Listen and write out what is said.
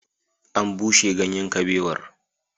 An bushe ganyen kabewar